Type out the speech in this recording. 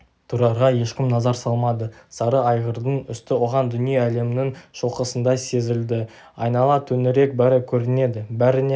тұрарға ешкім назар салмады сары айғырдың үсті оған дүние-әлемнің шоқысындай сезілді айнала төңірек бәрі көрінеді бәріне